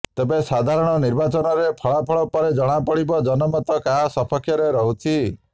ତେବେ ସାଧାରଣ ନିର୍ବାଚନର ଫଳାଫଳ ପରେ ଜଣାପଡ଼ିବ ଜନମତ କାହା ସପକ୍ଷରେ ରହୁଛି